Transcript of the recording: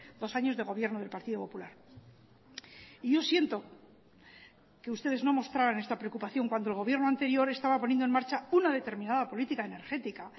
dos años de gobierno del partido popular y yo siento que ustedes no mostraran esta preocupación cuando el gobierno anterior estaba poniendo en marcha una determinada política energética